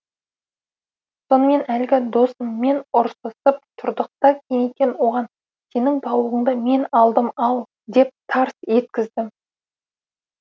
сонымен әлгі досыммен ұрсысып тұрдық та кенеттен оған сенің тауығыңды мен алдым ал деп тарс еткіздім